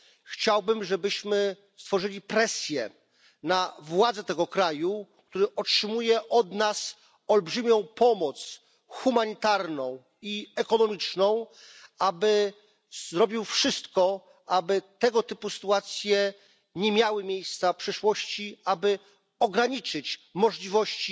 Chciałbym, żebyśmy wywierali presję na władze tego kraju, który otrzymuje od nas olbrzymią pomoc humanitarną i ekonomiczną, aby zrobił wszystko, aby tego typu sytuacje nie miały miejsca w przyszłości, aby ograniczyć możliwości